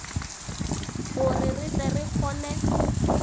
gore re tle re kgone